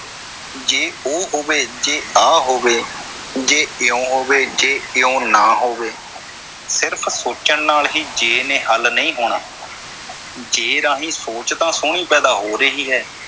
ਜੇ ਉਹ ਹੋਵੇ, ਜੇ ਆਹ ਹੋਵੇ, ਜੇ ਇਉਂ ਹੋਵੇ, ਜੇ ਇਉਂ ਨਾ ਹੋਵੇ। ਸਿਰਫ ਸੋਚਣ ਨਾਲ ਹੀ ਜੇ ਨੇ ਹੱਲ ਨਹੀਂ ਹੋਣਾ ਜੇ ਰਾਹੀਂ ਸੋਚ ਤਾਂ ਸੋਹਣੀ ਪੈਦਾ ਹੋ ਰਹੀ ਹੈ।